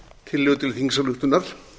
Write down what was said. tillögu til þingsályktunar